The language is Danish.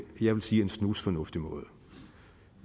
jeg sige snusfornuftig måde